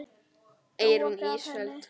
Eyrún Ísfold.